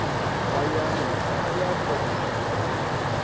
hayani na ya poswo na